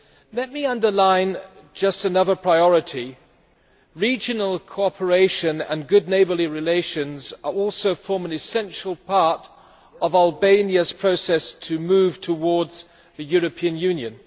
Let me underline just one other priority regional cooperation and good neighbourly relations also form an essential part of Albania's process of moving towards the European Union.